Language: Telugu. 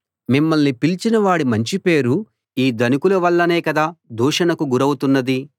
మిమ్మల్ని పిలిచిన వాడి మంచి పేరు ఈ ధనికుల వల్లనే కదా దూషణకు గురౌతున్నది